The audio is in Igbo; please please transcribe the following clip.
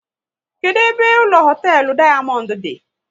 Kedụ ebe ụlọ hoteelu Dayamondu di?